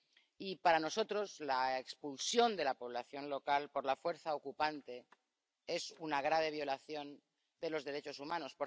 Y para nosotros, la expulsión de la población local por la fuerza ocupante es una grave violación de los derechos humanos.